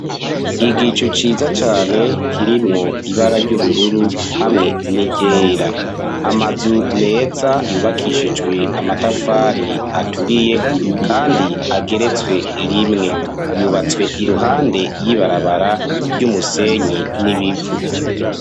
Igicu, ciza cane, kirimwo ibara ry'ubururu, hamwe n'iryera; amazu meza, yubakishijwe amatafari, aturiye, kandi ageretswe rimwe; yubatswe iruhande y'ibarabara, ry'umusenyi n'ibivu.